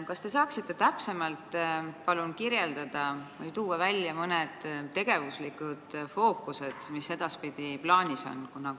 Kas te saaksite täpsemalt välja tuua mõned tegevusfookused, mis edaspidi plaanis on?